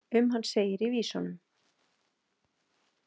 Um hann segir í vísunum.